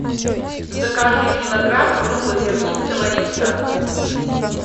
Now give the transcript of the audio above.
закажи килограмм круглозернистого риса